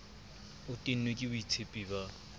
o tennwe ke boitshepi ba